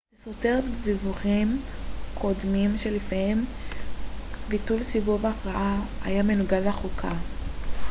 זה סותר דיווחים קודמים שלפיהם ביטול סיבוב ההכרעה היה מנוגד לחוקה